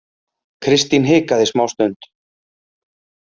Kristín hikaði smástund.